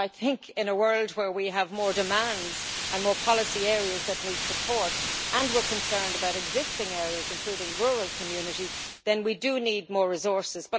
I think that, in a world where we have more demands and more policy areas that need support and we are concerned about existing areas including rural communities, then we do need more resources.